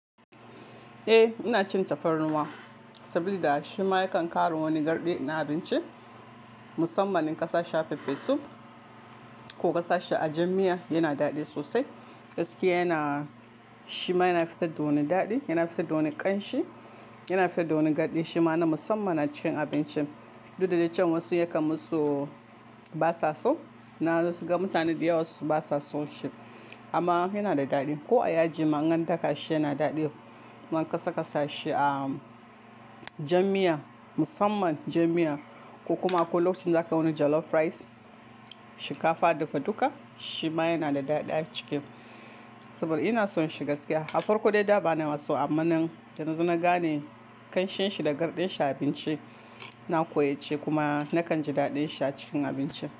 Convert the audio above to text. Eh, ina cin tafarnuwa saboda shima yakan ƙara wani garɗi na abinci. Musamman in kasashi pepper soup ko kasashi a jar mia yana daɗi sosai. Gaskiya yana shima yana fitar da wani daɗi, yana fitar da wani ƙanshi, yana fitar da wani garɗi shima na musamman a cikin abincin. Duk da cewa wasu yakan musu basa so, na gan mutane da yawa basa son shi amma yana da daɗi. Ko a yaji manganta kashi yana daɗi. Ama kasakasa shi a jam mia musamman jam mia ko kuma a lokacin zaka wani jollof rice, shikafa, dufa duka shima yana da daɗi a ciki. Saboda ina son shi gaskiya. Afarko dai da ba na so amma nan da na gane ƙanshin shi da garɗin shi a abinci, na koyace kuma nakan ji daɗin shi a cikin abinci.